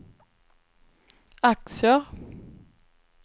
aktier